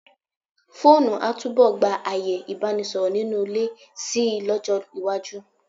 Fóònù a túbọ̀ gba ààyè Ìbánisọ̀rọ̀ nínú ilé si lọ́jọ́ iwájú.